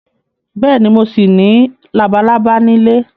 Bẹ́ẹ̀ni, mo ṣì ní labalábá nílé